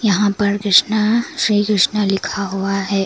यहां पर कृष्णा श्री कृष्णा लिखा हुआ है।